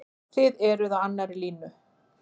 Þið eruð á annarri línu?